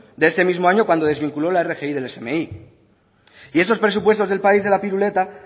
de ese mismo año cuando desvinculó la rgi del smi y esos presupuestos del país de la piruleta